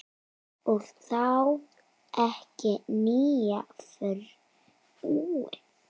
Og þá ekki nýja frúin.